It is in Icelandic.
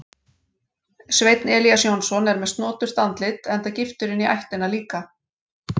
Sveinn Elías Jónsson er með snoturt andlit enda giftur inní ættina líka.